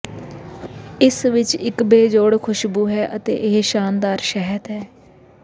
ਇਸ ਵਿਚ ਇਕ ਬੇਜੋੜ ਖੁਸ਼ਬੂ ਹੈ ਅਤੇ ਇਹ ਸ਼ਾਨਦਾਰ ਸ਼ਹਿਦ ਹੈ